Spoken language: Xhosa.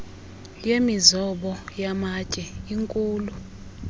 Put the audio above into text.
yemizobo yamatye inkhulu